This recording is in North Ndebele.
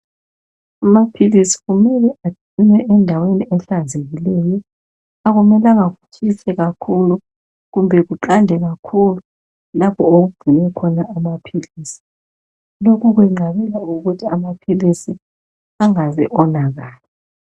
Amaphilisi kumele agcinwe endaweni ehlanzekileyo akumelanga kutshise kakhulu kumbe kuqande kakhulu lapho okugcinwa amaphilisi lokhu kwenqabela ukuthi amaphilisi angaze awo nakala.